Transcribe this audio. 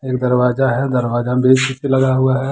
एक दरवाजा है दरवाजे में लगा हुआ है।